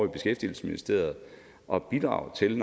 i beskæftigelsesministeriet og bidrage til